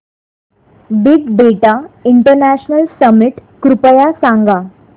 big data international summit कृपया सांगा